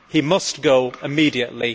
He must go immediately.